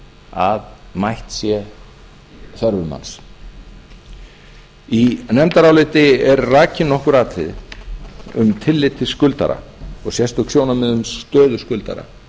að mætt sé þörfum hans í nefndaráliti eru rakin nokkur atriði um tillit til skuldara og sérstök sjónarmið um stöðu skuldara